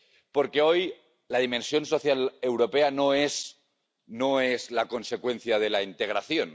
Porque hoy la dimensión social europea no es la consecuencia de la integración.